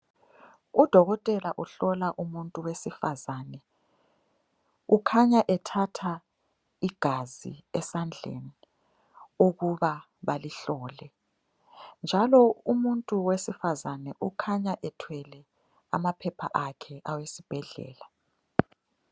Udokotela uhlola umuntu wesifazane. Ukhanya ethatha igazi esandleni ukuba balihlole, njalo umuntu wesifazane ukhanya ethwele amaphepha akhe awesibhedlela.